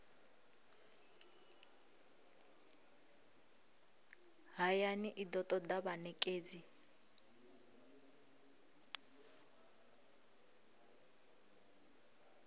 hayani i do toda vhanekedzi